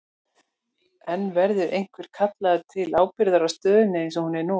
En verður einhver kallaður til ábyrgðar á stöðunni eins og hún er nú?